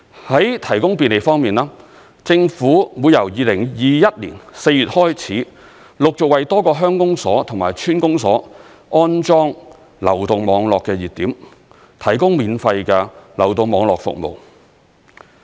在提供便利方面，政府會由2021年4月開始，陸續為多個鄉公所及村公所安裝流動網絡熱點，提供免費流動網絡服務。